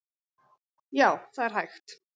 Já, það er hægt.